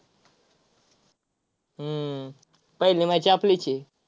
हम्म पहिली match आपलीच आहे.